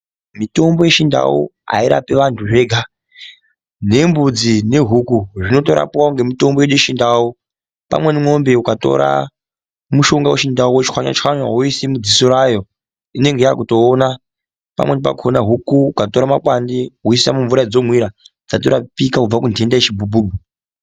Mitombo yechindau airapi antu zvega nembudzi nehuku zvinotorapwawo ngemutombo wedu wechindau pamweni mwombe ukatora mutombo wechindau wochwanya chwanya woise mudziso rayo inenge yakutoona pamweni pakhona huku ukatora makwande woise mumvura yadzinomwira dzatorapika kubva kuntenda yechibhubhubhu.